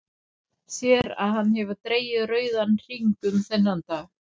Sér að hann hefur dregið rauðan hring um þennan dag.